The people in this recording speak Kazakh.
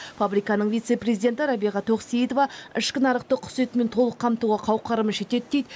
фабриканың вице президенті рабиға тоқсейітова ішкі нарықты құс етімен толық қамтуға қауқарымыз жетеді дейді